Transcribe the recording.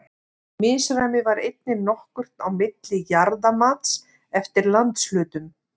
Misræmi var einnig nokkuð á milli jarðamats eftir landshlutum.